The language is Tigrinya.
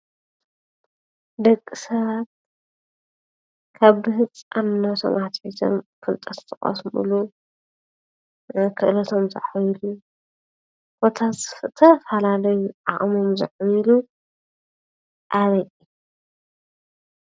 ደቂ ሰባት ካብ ብህፃንነቶም አትሒዞም ፍልጠት ዝቐስምሉ፣ ክእለቶም ዘዕብይሉ ኮታስ ዝተፈላለዩ ዓቕሞም ዘዕብይሉ አበይ እዩ?